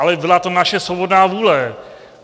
Ale byla to naše svobodná vůle.